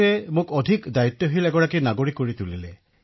অখিলঃ ই মোক দায়িত্বসম্পন্ন নাগৰিক হিচাপে গঢ়ি তুলিছে মহাশয়